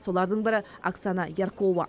солардың бірі оксана яркова